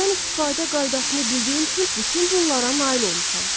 Sirdən istifadə qaydasını bildiyim üçün bütün bunlara nail olmuşam.